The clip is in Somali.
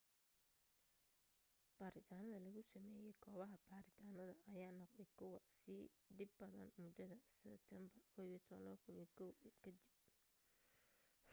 baaritaanada lagu sameeyo goobaha baaritaanada ayaa noqday kuwa sii dhib badan mudada seteembar 11 2001 ka dib